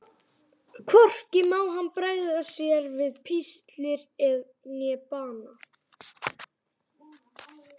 Hvorki má hann bregða sér við píslir né bana.